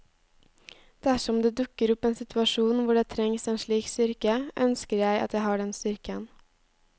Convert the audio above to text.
Dersom det dukker opp en situasjon hvor det trengs en slik styrke, ønsker jeg at jeg har den styrken.